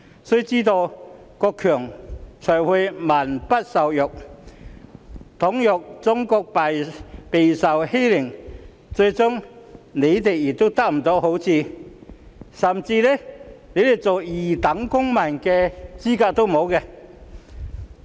須知道，國強才會民不受虐。倘若中國被欺凌，他們最終亦不會得到好處，甚至連成為二等公民的資格也沒有。